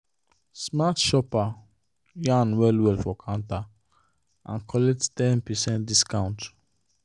smart shopper yarn well well for counter and collect ten percent discount.